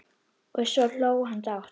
Og svo hló hann dátt.